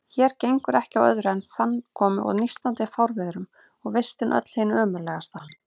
Hér gengur ekki á öðru en fannkomu og nístandi fárviðrum, og vistin öll hin ömurlegasta.